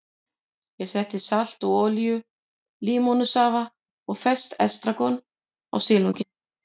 Ég setti salt og olíu, límónusafa og ferskt estragon á silunginn.